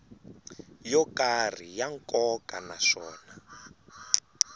yo karhi ya nkoka naswona